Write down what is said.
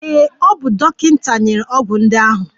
Ee, o bu dọkịta nyere ọgwụ ndị ahụ.